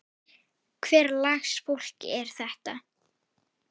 Hvers lags fólk er þetta?